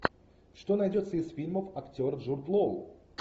что найдется из фильмов актер джуд лоу